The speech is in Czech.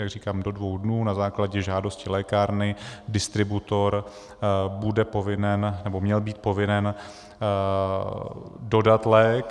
Jak říkám, do dvou dnů na základě žádosti lékárny distributor bude povinen, nebo měl být povinen dodat lék.